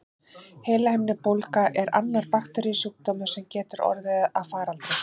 Heilahimnubólga er annar bakteríusjúkdómur, sem getur orðið að faraldri.